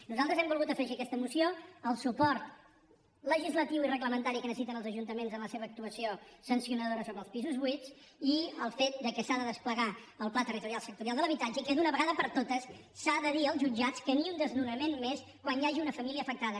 nosaltres hem volgut afegir a aquesta moció el suport legislatiu i reglamentari que necessiten els ajuntaments en la seva actuació sancionadora sobre els pisos buits i el fet que s’ha de desplegar el pla territorial sectorial de l’habitatge i que d’una vegada per totes s’ha de dir als jutjats que ni un desnonament més quan hi hagi una família afectada